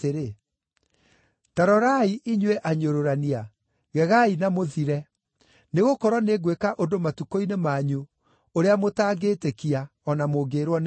“ ‘Ta rorai, inyuĩ anyũrũrania, gegaai na mũthire, nĩgũkorwo nĩngwĩka ũndũ matukũ-inĩ manyu, ũrĩa mũtangĩtĩkia, o na mũngĩĩrwo nĩ mũndũ.’ ”